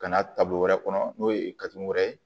Ka na taabolo wɛrɛ kɔnɔ n'o ye wɛrɛ ye